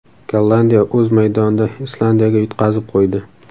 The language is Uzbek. Gollandiya o‘z maydonida Islandiyaga yutqazib qo‘ydi.